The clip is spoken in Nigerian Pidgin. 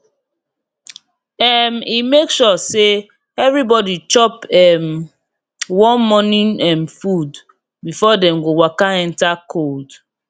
um e make sure say everybody chop um warm morning um food before dem go waka enter cold